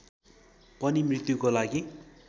पनि मृत्युको लागि